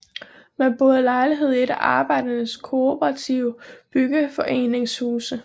Man boede i lejlighed i et af Arbejdernes Kooperative Byggeforenings huse